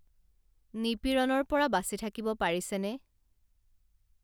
নিপীড়ণৰপৰা বাচি থাকিব পাৰিছে নে